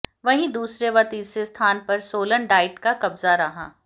वहीं दूसरे व तीसरे स्थान पर सोलन डाइट का कब्जा रहा